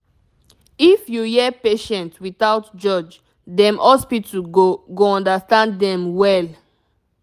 if you hear patient without judge dem hospital go go understand dem well